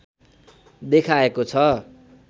देखाएको छ